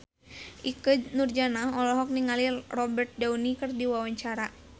Ikke Nurjanah olohok ningali Robert Downey keur diwawancara